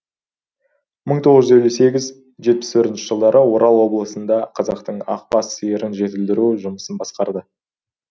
мың тоғыз жүз елу сегіз жетпіс төртінші жылдары орал облысында қазақтың ақбас сиырын жетілдіру жұмысын басқарды